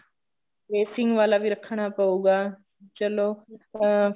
tracing ਵਾਲਾ ਵੀ ਰੱਖਣਾ ਪਉਗਾ ਚਲੋ ਅਹ